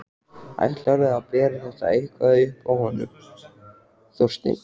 Ætlarðu að bera þetta eitthvað upp á hann Þorstein?